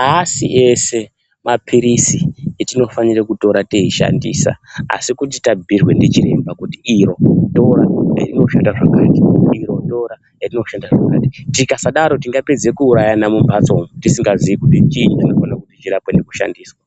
aasi ese mapirisi etinofanira kutora teishandisa. asi kuti tabhiirwa ndichiremba kuti iro tora rinoshanda zvakati , iro tora rinoshanda zvakati tikasadaro tingapedza kuurayana mumhatso umo tisingazii kuti chiinyi